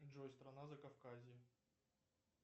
джой страна закавказье